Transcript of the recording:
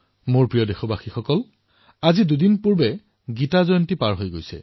মোৰ মৰমৰ দেশবাসীসকল দুদিন পূৰ্বে গীতা জয়ন্তী পালন কৰা হল